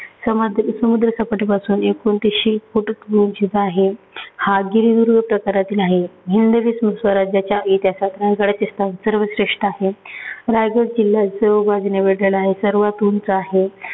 समद समुद्र सपाटीपासून एकोतीसशे foot उंचीचा आहे. हा गिरिदुर्ग प्रकारातील आहे. हिंदवी स्वराज्याच्या इतिहासात रायगडचे स्थान सर्वांत श्रेष्ठ आहे. रायगड किल्ला सर्व बाजूने वेढलेला आहे. सर्वांत उंच आहे.